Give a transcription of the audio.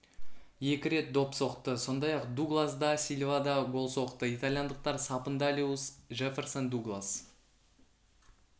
екі рет доп соқты сондай-ақ дуглас да сильва да гол соқты итальяндықтар сапындалуис жефферсон дуглас